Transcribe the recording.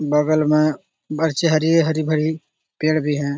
बगल मे हरी हरी भरी पेड़ भी हैं |